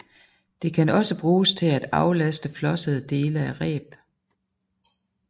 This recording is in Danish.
Det kan også bruges til at aflaste flossede dele af reb